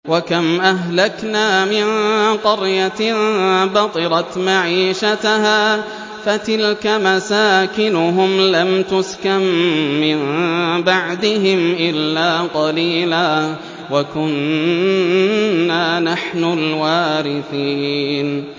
وَكَمْ أَهْلَكْنَا مِن قَرْيَةٍ بَطِرَتْ مَعِيشَتَهَا ۖ فَتِلْكَ مَسَاكِنُهُمْ لَمْ تُسْكَن مِّن بَعْدِهِمْ إِلَّا قَلِيلًا ۖ وَكُنَّا نَحْنُ الْوَارِثِينَ